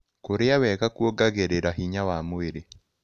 Kũrĩa wega kũogagĩrĩra hinya wa mwĩrĩ